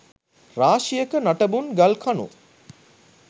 රාශියක නටබුන් ගල්කණු